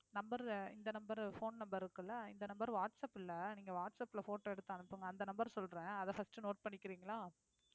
number இந்த number phone number இருக்கு இல்ல இந்த number வாட்ஸ் ஆப் இல்லை நீங்க எடுத்து வாட்ஸ் ஆப்ல photo எடுத்து அனுப்புங்க அந்த number சொல்றேன் அதை first note பண்ணிக்கிறீங்களா